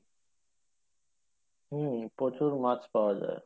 হম প্রচুর মাছ পাওয়া যাই